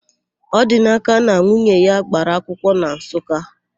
Ọdinaka na nwunye ya gbara akwụkwọ na Nsụka.